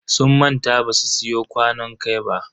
Sun manta basu siyo kwanon kai ba.